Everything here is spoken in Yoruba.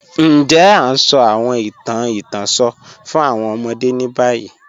Ǹjẹ̀ a ǹ sọ̀ awọn ìtàn ìtànṣọ̀ fún awọn ọmọdé ni bayi?